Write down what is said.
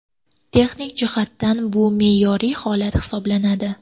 Texnik jihatdan bu me’yoriy holat hisoblanadi.